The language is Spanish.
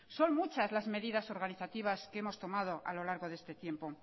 son muchas las medidas organizativas que hemos tomado a lo largo de este tiempo